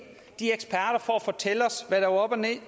for at fortælle os hvad der var op og ned